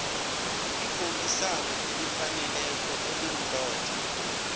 ibhokisana elifaneleko elimlotha